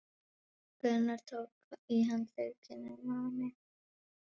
Gunnar tók í handlegginn á henni.